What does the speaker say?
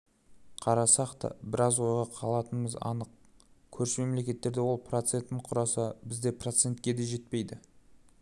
қарасақ та біраз ойға қалатынымыз анық көрші мемлекеттерде ол процентін құраса бізде процентке де жетпейді